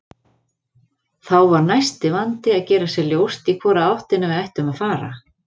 Þá var næsti vandi að gera sér ljóst í hvora áttina við ættum að fara.